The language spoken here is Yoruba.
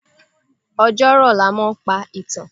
Ọjọ́ rọ̀ ni a máa ń pa ìtàn.